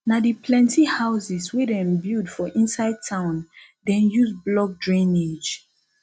na di plenty houses wey dem build for inside town dem use block drainage